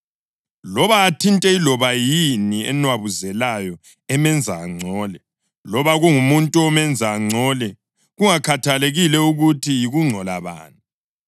loba athinte iloba yini enwabuzelayo emenza angcole, loba kungumuntu omenza angcole, kungakhathalekile ukuthi yikungcola bani.